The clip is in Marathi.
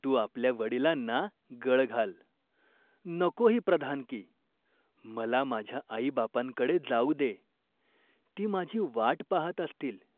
तू आपल्या वडिलांना गळ घाल, नको ही प्रधानकी, मला माझ्या आईबापांकडे जाऊ दे, ती माझी वाट पाहात असतील.